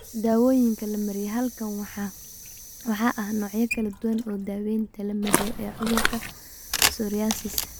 Daawooyinka la mariyo Halkan waxa ah noocyo kala duwan oo daawaynta la mariyo ee cudurka psoriasis.